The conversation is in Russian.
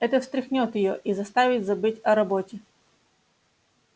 это встряхнёт её и заставит забыть о роботе